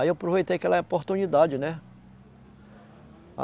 Aí eu aproveitei aquela oportunidade, né?